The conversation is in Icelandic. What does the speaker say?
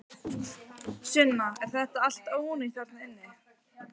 Sunna: Er þetta allt ónýtt þarna inni?